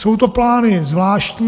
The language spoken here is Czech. Jsou to plány zvláštní.